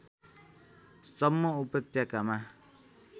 सम्म उपत्यकामा